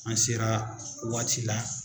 An sera waati la